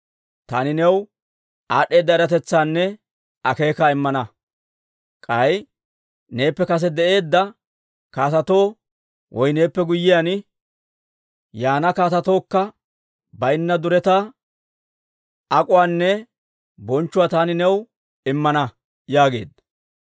taani new aad'd'eeda eratetsaanne akeekaa immana. K'ay neeppe kase de'eedda kaatetoo woy neeppe guyyiyaan yaana kaatetookka baynna duretaa, ak'uwaanne bonchchuwaa taani new immana» yaageedda.